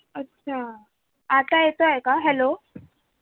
अच्छा आता येतोय का? hello